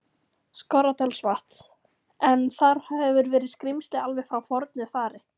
Skorradalsvatns, en þar hefur verið skrímsli alveg frá fornu fari.